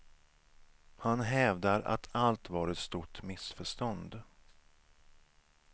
Han hävdar att allt var ett stort missförstånd.